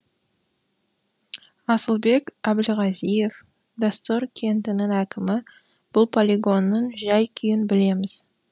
асылбек әбілғазиев доссор кентінің әкімі бұл полигонның жай күйін білеміз деді